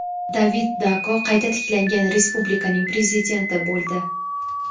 David Dako qayta tiklangan respublikaning prezidenti bo‘ldi.